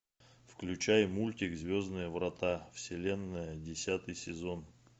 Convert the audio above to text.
включай мультик звездные врата вселенная десятый сезон